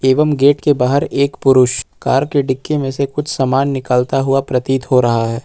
एवं गेट के बाहर एक पुरुष कार की डिक्की मे से कुछ सामान निकलता हुआ प्रतीत हो रहा है।